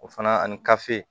O fana ani